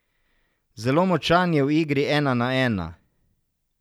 Zelo močan je v igri ena na ena.